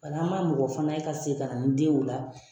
Wala an man mɔgɔ fana ye ka segin ka na ni den ye o la.